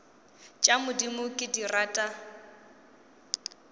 tša modimo ke di rata